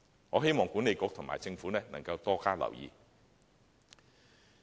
我希望西九管理局和政府能夠多加留意。